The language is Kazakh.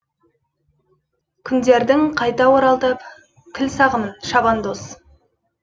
күндердің қайта оралтып кіл сағымын шабандоз